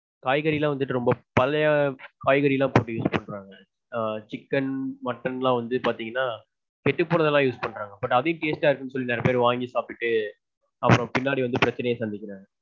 காய்கறிலாம் வந்துட்டு ரொம்ப பழைய காய்கறிலாம் போட்டு use பண்றாங்க. ஆஹ் chicken mutton லாம் வந்து பாத்தீங்கனா கெட்டு போனதுலாம் use பண்றாங்க. but அதையும் taste டா இருக்குனு சொல்லி நிறைய பேர் வாங்கி சாப்ட்டுட்டு அப்பறம் பின்னாடி வந்து பிரச்சினைய சந்திக்கறாங்க.